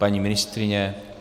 Paní ministryně?